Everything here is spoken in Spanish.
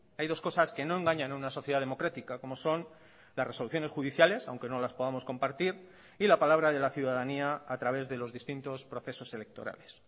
hay dos cosas que no engañan a una sociedad democrática como son las resoluciones judiciales aunque no las podamos compartir y la palabra de la ciudadanía a través de los distintos procesos electorales